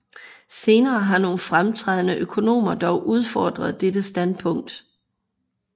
Senere har nogle fremtrædende økonomer dog udfordret dette standpunkt